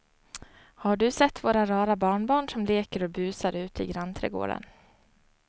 Har du sett våra rara barnbarn som leker och busar ute i grannträdgården!